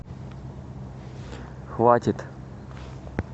хватит